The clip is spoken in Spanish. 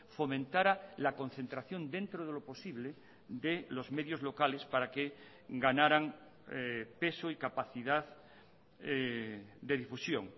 fomentara la concentración dentro de lo posible de los medios locales para que ganaran peso y capacidad de difusión